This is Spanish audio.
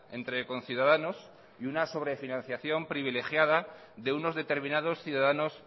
entre conciudadanos y una sobrefinanciación privilegiada de unos determinados ciudadanos